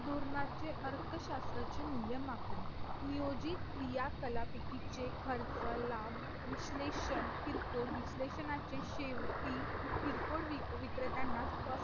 आज अजून जर आपल्या संविधानात जर पाहायचं झालं तर डॉक्टर बाबासाहेब आंबेडकर यांनी सुद्धा समान नागरी कायद्याला पूर्णतः पाठिंबा दिला होता, परंतु तो आज आज आस्था गळ्यात काही लागूलेलं नाही.